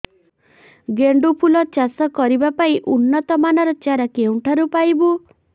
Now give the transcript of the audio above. ଗେଣ୍ଡୁ ଫୁଲ ଚାଷ କରିବା ପାଇଁ ଉନ୍ନତ ମାନର ଚାରା କେଉଁଠାରୁ ପାଇବୁ